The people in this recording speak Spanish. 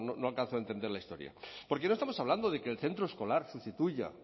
no alcanzo a entender la historia porque no estamos hablando de que el centro escolar sustituya